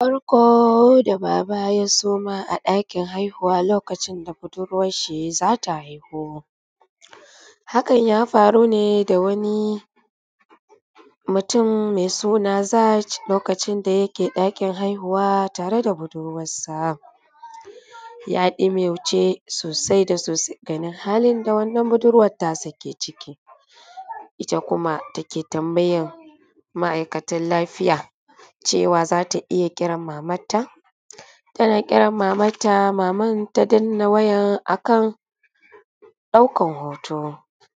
Barko da baba ya suma a ɗakin haihuwa lokacin da budurwan shi za ta haihu. Hakan ya farune da wani mutum me suna Jaz lokacin da yake ɗakin haihuwa tare da budurwansa ya ɗumaice sosai da sosai domin halin da wannan budurwan nasa ke ciki. Ita kuma take tambayan ma’aikatan lafiya cewa za ta iya kiran mamanta, tana kiran mamanta maman ta danna waya akan ɗaukan hoto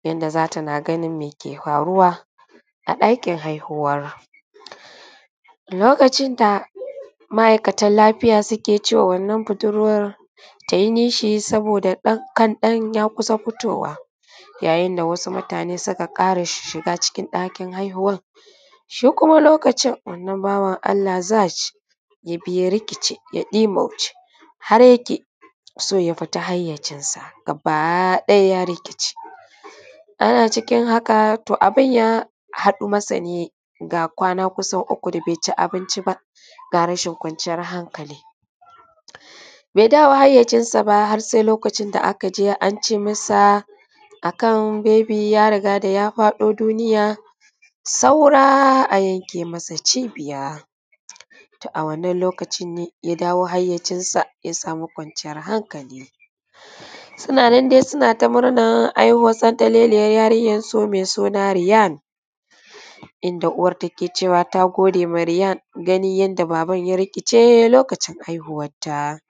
yanda da tana ganin me ke faruwa a ɗakin haihuwa lokacin da ma’aikatan lafiya suke ce ma wannan budurwan ta yi nishi saboda ɗan kan nan ya kusa fitowa yayin da wasu mutane suka ƙara shiga cikin ɗakin haihuwan. Shi kuma wannan lokacin wannan bawan Allah zai yabi ya rikice ya ɗumauce har yake so ya fita hayyacinsa gabaɗaya, ya rikice ana cikin haka to abun ya haɗu masa ne ga kwana kusan uku da be ci abinci ba, ga rashin kwanciyar hankali be dawo hayyacinsa ba, har se da ya ji an ce mata ga kan bebi ya riga da ya faɗo duniya, sora a yanke masa cibiya. To, a wannan lokacin ne ya dawo hayyacinsa ya samu kwanciyan hankali, suna nan dai suna ta murna ai santaleliyan yarinyansu me suna Riyan; inda uwan take cewa ta gode wa Riyan tana gani lokacin da baban ya rikice lokacin haihuwanta.